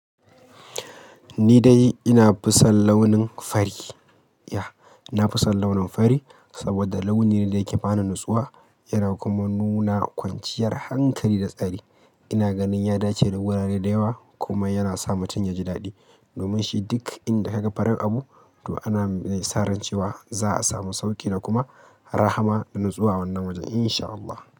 Ni dai ina fisan launin fari. Ya, ina fisan launin fari saboda launi ne da yake bani natsuwa yana kuma nuna kwanciyar hankali da tsari. Ina ganin ya dace da wurare da yawa kuma yana sa mutum yaji daɗi. Domin shi duk inda ka ga farin abu to ana sa ran cewa za a samu sauƙi da kuma rahama da natsuwa wannan wajen insha Allahn.